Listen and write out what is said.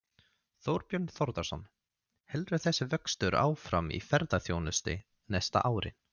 Þorbjörn Þórðarson: Heldur þessi vöxtur áfram í ferðaþjónustunni næstu árin?